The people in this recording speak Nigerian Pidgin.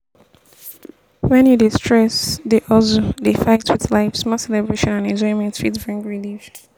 when you dey stress dey hustle dey fight with life small celebration and enjoyment fit bring relief